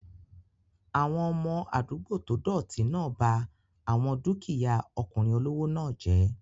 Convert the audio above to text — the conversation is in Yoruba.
Àwọn ọmọ àdúgbò tó dọ̀ọ̀tì náà ba àwọn dúkìyá ọkùnrin olówó náà jẹ́